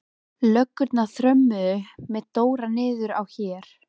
Löggurnar þrömmuðu með Dóra niður á Her.